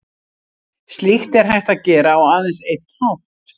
Slíkt er hægt að gera á aðeins einn hátt.